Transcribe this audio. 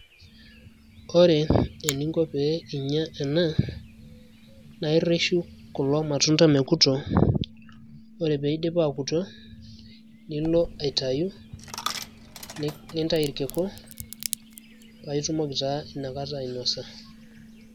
Ore eninko pee inya ena, naa irreshu kulo matunda mekuto. Ore piidip akuto, nilo aitayu, nintayu irkiku, paitumoki taa inakata ainosa.